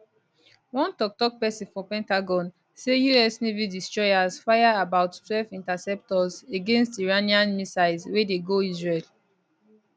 one toktok pesin for pentagon say us navy destroyers fire about twelve interceptors against iranian missiles wey dey go israel